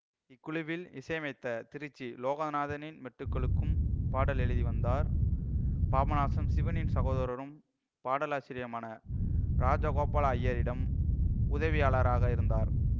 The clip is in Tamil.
இக்குழுவில் இசையமைத்த திருச்சி லோகநாதனின் மெட்டுகளுக்கும் பாடல்கள் எழுதிவந்தார் பாபநாசம் சிவனின் சகோதரரும் பாடலாசிரியருமான இராஜகோபால அய்யரிடம் உதவியாளராக இருந்தார்